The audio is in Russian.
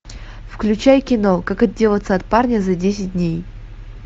включай кино как отделаться от парня за десять дней